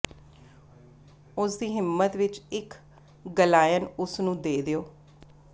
ਉਸ ਦੀ ਹਿੰਮਤ ਵਿਚ ਇਕ ਗਲਾਇਨ ਉਸ ਨੂੰ ਦੇ ਦਿਓ